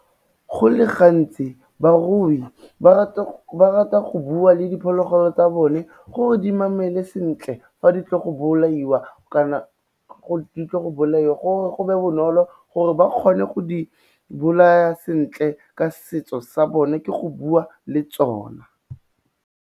Go le gantsi barui ba rata go bua le diphologolo tsa bone gore di mamele sentle fa di tla go bolaiwa kana gore go be bonolo gore ba kgone go di bolaya sentle ka setso sa bone ke go bua le tsona.